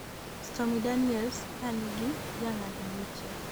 Stormy Daniels ka nigi jang'ad buche